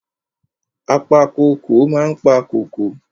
Apa kóko ma ń pa kóko.